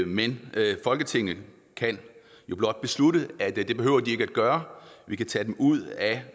men folketinget kan jo blot beslutte at det behøver de ikke at gøre vi kan tage dem ud af